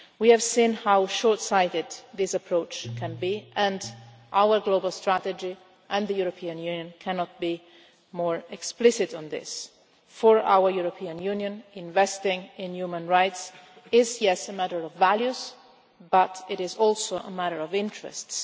We have seen how short-sighted this approach can be and our global strategy and the European Union cannot be more explicit on this is that for our European Union, investing in human rights is a matter of values, but it is also a matter of interests.